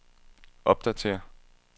opdatér